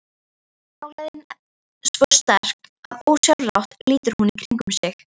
Nálægðin svo sterk að ósjálfrátt lítur hún í kringum sig.